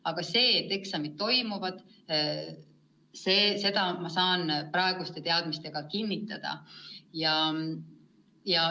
Aga seda, et eksamid toimuvad, saan ma praeguste teadmiste alusel kinnitada.